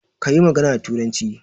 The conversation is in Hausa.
Kayi magana da turanci